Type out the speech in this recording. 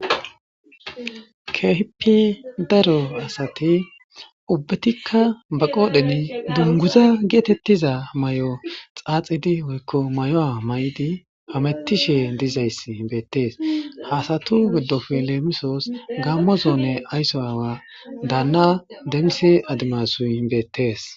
Kehippe daro asati utidikka ba qodhen duniguza getetiza mayo xaxidi woyikko mayuwa mayidi hametishshe dizayisi beteesi ha asatu gidoppe lemissosi gamo zone ayiso aawa dana adimasu demiseyi beteesi